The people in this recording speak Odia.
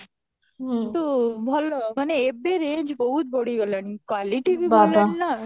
ହୁଁ ଭଲ ମାନେ ଏବେ range ବହୁତ ବଢି ଗଲାଣି quality